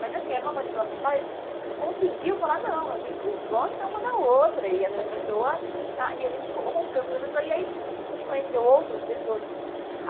Mas assim, era uma manipulação tal e a gente conseguiu falar, não, a gente gosta é uma da outra e, aham, essa pessoa está... E a gente rompeu com essa pessoa e aí a gente conheceu outras pessoas.